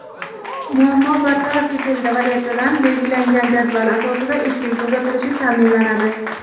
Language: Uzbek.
muammo bartaraf etildi va ertadan belgilangan jadval asosida efirga uzatilishi ta’minlanadi.